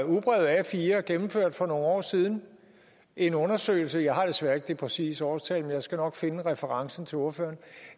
ugebrevet a4 gennemførte for nogle år siden en undersøgelse jeg har desværre ikke det præcise årstal men jeg skal nok finde referencen til ordføreren